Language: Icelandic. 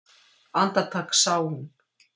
Andartak sá hún